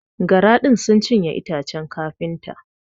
Gara din sun cinye itacen kafinta.